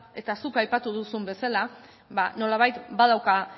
eta zuk aipatu duzun bezala nolabait badauka